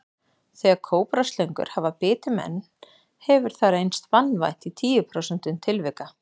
Þegar kóbraslöngur hafa bitið menn hefur hefur það reynst banvænt í tíu prósentum tilvika.